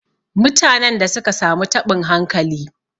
Mutanen da suka samu taɓin hankali.